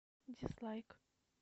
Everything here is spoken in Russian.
дизлайк